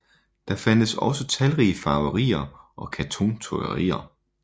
Der fandtes også talrige farverier og katuntrykkerier